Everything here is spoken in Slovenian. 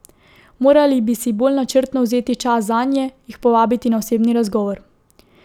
Morali bi si bolj načrtno vzeti čas zanje, jih povabiti na osebni razgovor.